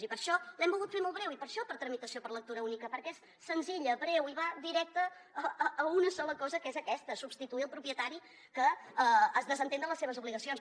i per això l’hem volgut fer molt breu i per això per tramitació per lectura única perquè és senzilla breu i va directa a una sola cosa que és aquesta substituir el propietari que es desentén de les seves obligacions